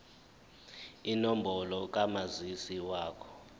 inombolo kamazisi wakho